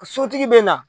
Sotigi bɛ na